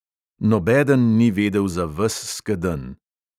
Nobeden ni vedel za ves skedenj.